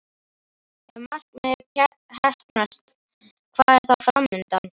Ef það markmið heppnast, hvað er þá fram undan?